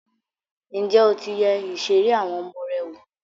Ǹjẹ́ o ti yẹ ìṣeré àwọn ọmọ rẹ wò?